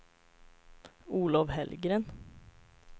Olov Hellgren